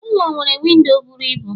Ụlọ nwere windo bụrụ ịbụ